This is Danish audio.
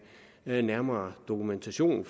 nærmere dokumentation